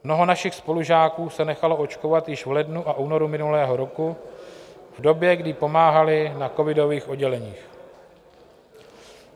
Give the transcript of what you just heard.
Mnoho našich spolužáků se nechalo očkovat již v lednu a únoru minulého roku v době, kdy pomáhali na covidových odděleních.